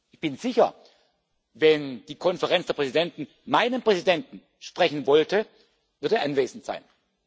Ich bin sicher, wenn die Konferenz der Präsidenten meinen Präsidenten sprechen wollte, würde er anwesend sein.